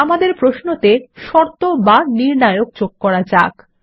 আমাদের প্রশ্নতে শর্ত বা নির্ণায়ক যোগ করা যাক